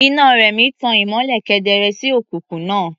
Iná Rẹ̀mí tan ìmọ́lẹ̀ kedere sí òkùnkùn náà.